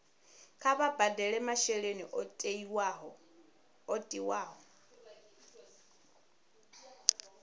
kha vha badele masheleni o tiwaho